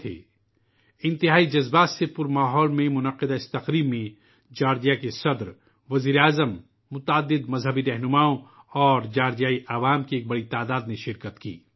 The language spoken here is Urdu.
یہ تقریب، جوکہ انتہائی جذباتی ماحول میں منعقد ہوئی، اس میں جورجیا کے صدر، وزیر اعظم، متعدد مذہبی قائدین، اور بڑی تعداد میں جارجیا کے عوام نے شرکت کی